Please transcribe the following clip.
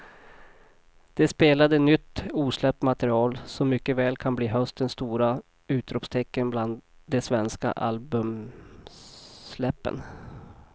De spelade nytt osläppt material som mycket väl kan bli höstens stora utropstecken bland de svenska albumsläppen.